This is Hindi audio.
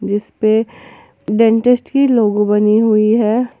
इसपे डेंटिस्ट की लोगों बनी हुई हैं।